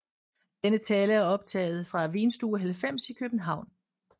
Denne tale er optaget fra Vinstue 90 i København